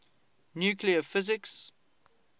nuclear physics